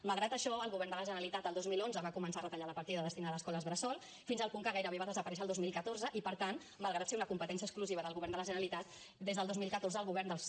malgrat això el govern de la generalitat el dos mil onze va començar a retallar la partida destinada a escoles bressol fins al punt que gairebé va desaparèixer el dos mil catorze i per tant malgrat ser una competència exclusiva del govern de la generalitat des del dos mil catorze el govern dels